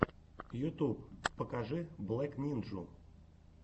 ютьюб покажи блэк нинджу